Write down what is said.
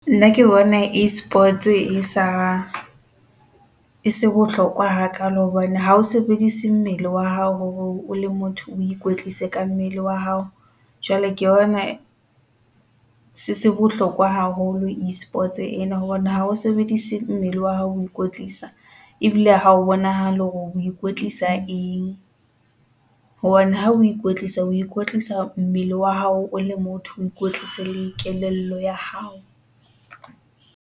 Nna ke bona e-sports e sa, e se bohlokwa ha kaalo hobane ha o sebedise mmele wa hao hore o le motho o ikwetlise ka mmele wa hao. Jwale ke bona se se bohlokwa haholo e-sports ena hobane ha o sebedise mmele wa hao ho ikwetlisa, ebile ha o bonahale hore o o ikwetlisa eng, hobane ha o ikwetlisa o ikwetlisa mmele wa hao o le motho, o ikwetlisa le kelello ya hao.